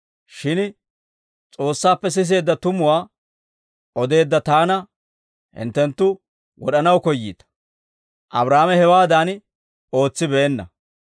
Shin S'oossaappe siseedda tumuwaa odeedda Taana hinttenttu wod'anaw koyyiita; Abraahaame hewaadan ootsibeenna.